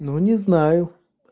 ну не знаю